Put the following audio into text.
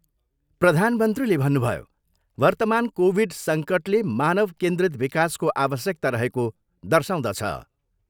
प्रधानमन्त्रीले भन्नुभयो, वर्तमान कोभिड सङ्कटले मानव केन्द्रित विकासको आवश्यकता रहेको दर्शाउँदछ।